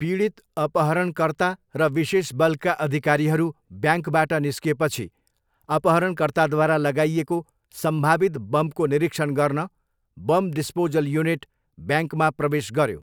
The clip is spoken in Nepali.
पीडित, अपहरणकर्ता र विशेष बलका अधिकारीहरू ब्याङ्कबाट निस्किएपछि, अपहरणकर्ताद्वारा लगाइएको सम्भावित बमको निरीक्षण गर्न बम डिस्पोजल युनिट ब्याङ्कमा प्रवेश गऱ्यो।